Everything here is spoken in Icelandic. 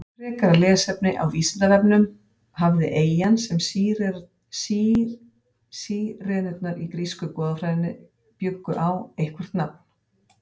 Frekara lesefni á Vísindavefnum: Hafði eyjan sem Sírenurnar í grísku goðafræðinni bjuggu á eitthvert nafn?